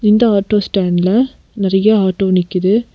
இந்த ஆட்டோ ஸ்டாண்ட்ல நறையா ஆட்டோ நிக்கிது.